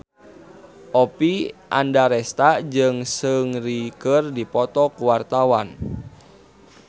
Oppie Andaresta jeung Seungri keur dipoto ku wartawan